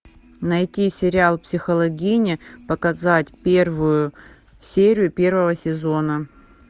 найти сериал психологини показать первую серию первого сезона